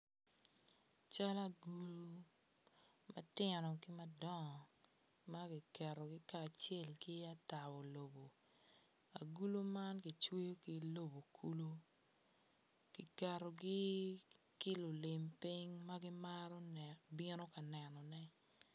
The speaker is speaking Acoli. Cal agulu matino ki madongo makiketogi kacel ki atabo lobo agulu man kicweyo ki lobo kulu kiketogi ki lulim piny ma gimaro bino ka nenone.